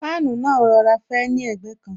Fáànù náà ń rọra fẹ́ ni ẹ̀gbẹ́ kan